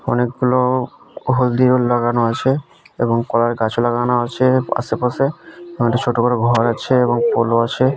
অনেকগুলো হলদি রং লাগানো আছে এবং কলার গাছ লাগানো আছে আশেপাশে কয়েকটি ছোটো বড়ো ঘর আছে এবং পলো আছে।